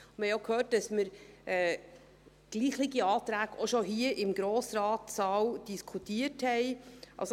Wir haben auch gehört, dass wir gleichlautende Anträge bereits hier im Grossratssaal diskutiert haben.